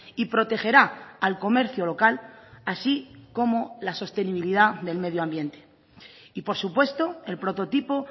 y protegerá al comercio local así como la sostenibilidad del medio ambiente y por supuesto el prototipo